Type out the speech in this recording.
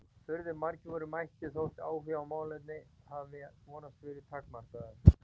Furðu margir voru mættir þótt áhugi á málefninu hafi vonandi verið takmarkaður.